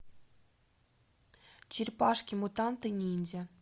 черепашки мутанты ниндзя